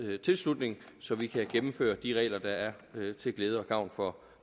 tilslutning så vi kan gennemføre de regler der er til glæde og gavn for